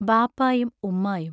ബാപ്പായും ഉമ്മായും.